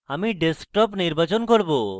আমি desktop নির্বাচন করব